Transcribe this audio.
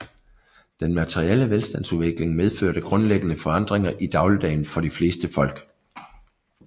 Den materielle velstandsudvikling medførte grundlæggende forandringer i dagligdagen for de fleste folk